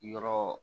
Yɔrɔ